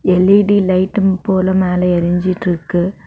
L E D light போல மேல எரிஞ்சிட்ருக்கு.